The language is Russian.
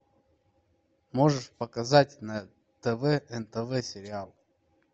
можешь показать на тв нтв сериал